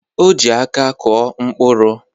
O ji aka kụọ mkpụrụ.